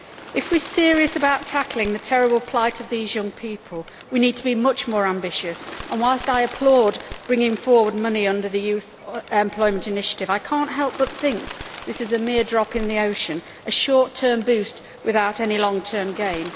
If we are serious about tackling the terrible plight of these young people, we need to be much more ambitious, and whilst I applaud bringing forward money under the Youth Employment Initiative, I cannot help but think this is a mere drop in the ocean, a short term boost without any long term gain.